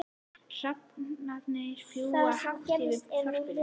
Hrafnarnir fljúga hátt yfir þorpinu.